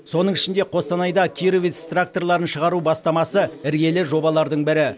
соның ішінде қостанайда кировец тракторларын шығару бастамасы іргелі жобалардың бірі